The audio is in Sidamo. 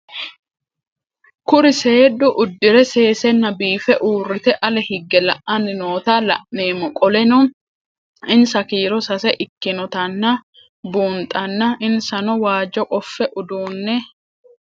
Kuri seenu udire sesena biife urite ale hige la'ani noota la'nemo qoleno insa kiiro sase ikinotana bunxana insano waajo qofe udune